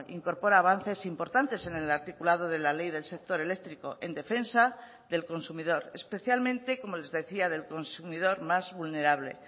incorpora avances importantes en el articulado de la ley del sector eléctrico en defensa del consumidor especialmente como les decía del consumidor más vulnerable